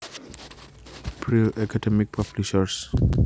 Brill Academic Publishers